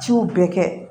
Jiw bɛɛ kɛ